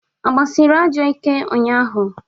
A gbasịrị ajọ ike ụnyaahụ?